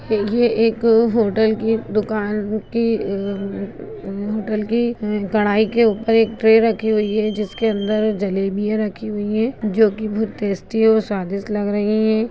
ये एक होटल की-- दुकान की-- होटल की कड़ाई के ऊपर एक ट्रे रखी हुई है जिसके अंदर जलेबिया रखी हुई है जोकि बहुत टेस्टी और स्वादिस्ट लग रही है।